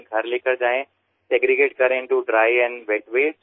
তারপর তাদের শুষ্ক বর্জ্য পদার্থ ও আর্দ্র বর্জ্য পদার্থ এই ভাগে ভাগ করুন